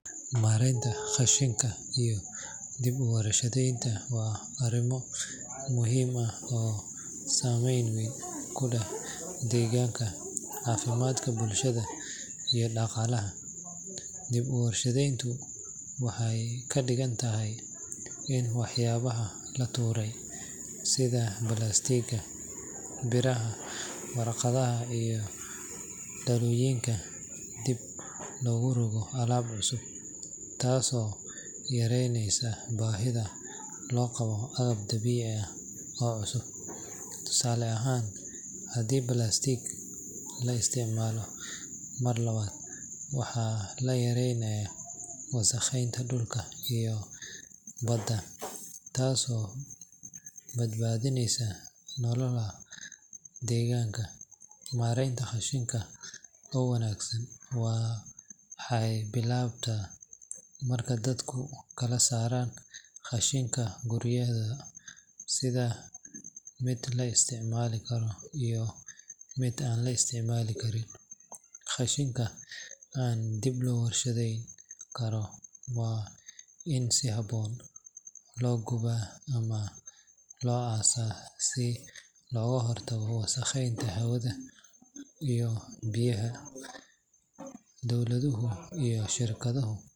Maareynta qashinka iyo dib-u-warshadaynta waa arrimo muhiim ah oo saameyn weyn ku leh deegaanka, caafimaadka bulshada iyo dhaqaalaha. Dib-u-warshadayntu waxay ka dhigan tahay in waxyaabaha la tuuray sida balaastigga, biraha, warqadda iyo dhalooyinka dib loogu rogo alaab cusub, taasoo yareynaysa baahida loo qabo agab dabiici ah oo cusub. Tusaale ahaan, haddii balaastigga la isticmaalo mar labaad, waxaa la yareynayaa wasakheynta dhulka iyo badda, taasoo badbaadinaysa noolaha deegaanka. Maareynta qashinka oo wanaagsan waxay bilaabataa marka dadku kala saaraan qashinka guryahooda sida mid la isticmaali karo iyo mid aan la isticmaali karin. Qashinka aan dib loo warshadayn karin waa in si habboon loo gubaa ama loo aasaa si looga hortago wasakheynta hawada iyo biyaha. Dowladuhu iyo shirkadahu.